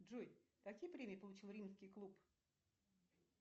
джой какие премии получил римский клуб